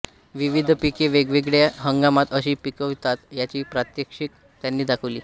विविध पिके वेगवेगळ्या हंगामात कशी पिकवावीत याची प्रात्यक्षिके त्यांनी दाखवली